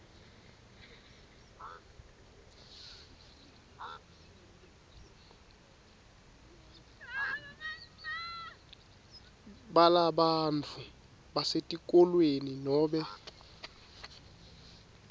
balabantfu basetikolweni nobe